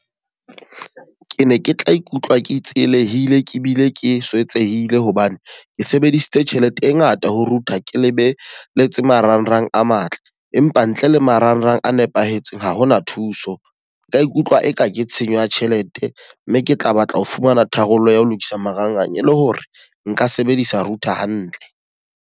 Ke ne ke tla ikutlwa ke tsielehile ke bile ke swetsehile hobane ke sebedisitse tjhelete e ngata ho router, ke le be le tse marangrang a matle. Empa ntle le marangrang a nepahetseng ha hona thuso. Nk ikutlwa e ka ke tshenyo ya tjhelete mme ke tla batla ho fumana tharollo ya ho lokisa marangrang e le hore nka sebedisa router hantle.